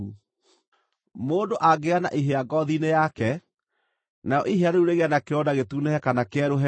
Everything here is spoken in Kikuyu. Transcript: “Mũndũ angĩgĩa na ihĩa ngoothi-inĩ yake, narĩo ihĩa rĩu rĩgĩe na kĩronda gĩtunĩhe kana kĩerũhe-rĩ,